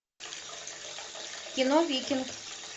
кино викинг